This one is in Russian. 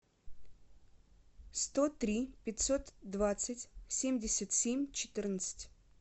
сто три пятьсот двадцать семьдесят семь четырнадцать